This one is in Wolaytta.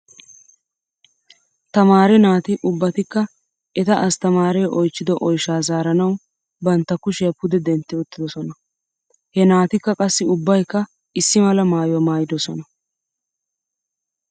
Tamaare naati ubbatkka eta astamaaree oychchido oyshaa zaaranaw bantta kushiyaa pude dentti uttidosona. He naatikka qassi ubbaykka issi mala maayuwaa maayidosona.